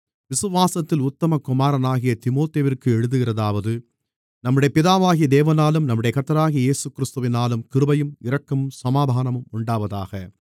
விசுவாசத்தில் உத்தம குமாரனாகிய தீமோத்தேயுவிற்கு எழுதுகிறதாவது நம்முடைய பிதாவாகிய தேவனாலும் நம்முடைய கர்த்தராகிய கிறிஸ்து இயேசுவினாலும் கிருபையும் இரக்கமும் சமாதானமும் உண்டாவதாக